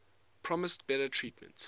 promised better treatment